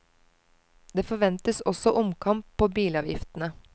Det forventes også omkamp på bilavgiftene.